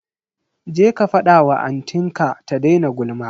Je ka fada wa anti ka ta daina gulma.